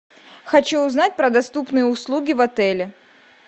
хочу узнать про доступные услуги в отеле